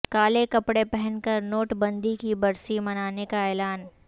کالے کپڑے پہن کر نوٹ بندی کی برسی منانے کا اعلان